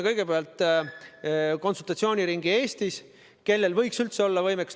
Kõigepealt tegime konsultatsiooniringi Eestis, et selgitada välja, kellel võiks üldse olla selline võimekus.